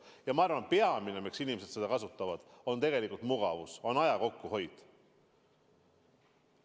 Ja ma arvan, et peamine, miks inimesed seda kasutavad, on tegelikult mugavus, aja kokkuhoid.